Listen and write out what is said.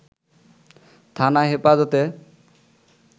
থানা হেফাজতে